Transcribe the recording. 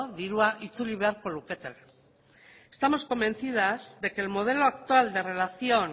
dirua itzuli beharko luketela estamos convencidas de que el modelo actual de relación